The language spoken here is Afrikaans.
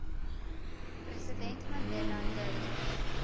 president mandela durf